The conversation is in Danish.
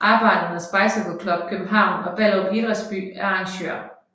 Arbejdernes Bicycle Club København og Ballerup Idrætsby er arrangører